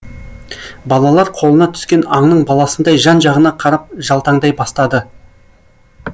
балалар қолына түскен аңның баласындай жан жағына қарап жалтаңдай бастады